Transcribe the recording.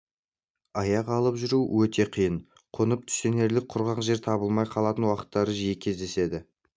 аяқ алып жүру өте қиын қонып түстенерлік құрғақ жер табылмай қалатын уақыттар жиі кездеседі